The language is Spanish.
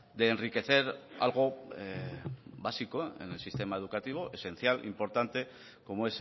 de enriquecer algo básico en el sistema educativo esencial importante como